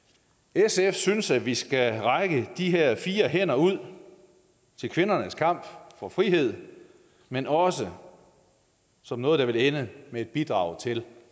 sf synes at vi skal række de her fire hænder ud til kvindernes kamp for frihed men også som noget der vil ende med at bidrage til